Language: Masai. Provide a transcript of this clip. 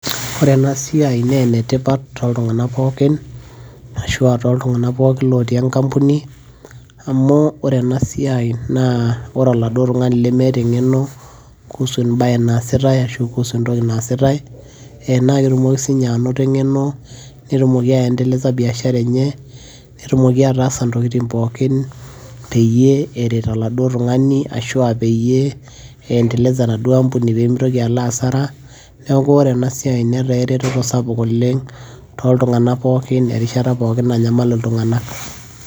ore ena siiai naa enetipat, ashu aa enetipat tooltunganak pookin lotii enkampuni, amu ore ena siai, naa ore oladuoo tungani lemeeta engeno kuusu ebae naasitae ashu kuusu entoki naasitae, naa ketumoki sii ninye anoto engeno, netumoki aendeleza biashara enye, netumoki ataasa intokitin pookin peyie eret oladuoo tungani ashu aa peyie endeleza enaduoo ampuni pee mitoki alo asara. neeku ore ena siai netaa eretoto sapuk oleng tooltunganak pookin, erishata pookin nanaymal iltunganak.